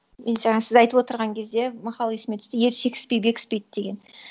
мен жаңа сіз айтып отырған кезде мақал есіме түсті ер шекіспей бекіспейді деген